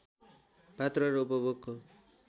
पात्रो र उपभोगको